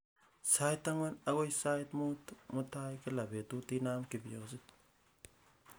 sait ang'wan agoi sait muut mutai kila betut inaam kifyonyit